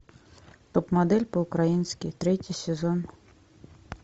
топ модель по украински третий сезон